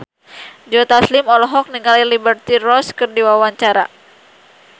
Joe Taslim olohok ningali Liberty Ross keur diwawancara